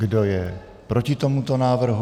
Kdo je proti tomuto návrhu?